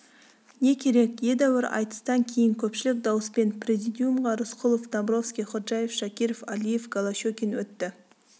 не керек едәуір айтыстан кейін көпшілік дауыспен президиумға рысқұлов домбровский ходжаев шакиров алиев голощекин өтті